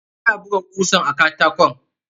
Ina buga kusan a katakon.